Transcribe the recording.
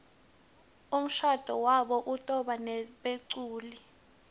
umshado wabo utobanebeculi